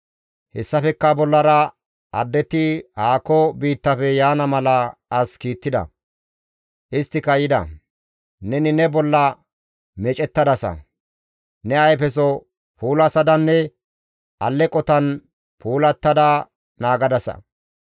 «Hessafekka bollara addeti haako biittafe yaana mala as kiittida; isttika yida; neni ne bolla meecettadasa; ne ayfeso puulasadanne alleqotan puulattada naagadasa.